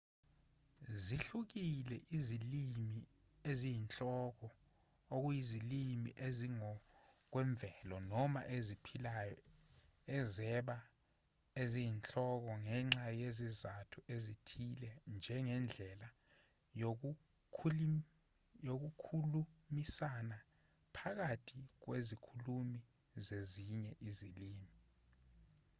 zihlukile ezilimini eziyinhloko okuyizilimi ezingokwemvelo noma eziphilayo ezaba eziyinhloko ngenxa yezizathu ezithile njengendlela yokukhulumisana phakathi kwezikhulumi zezinye izilimi